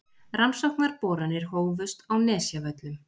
Rannsóknarboranir hófust á Nesjavöllum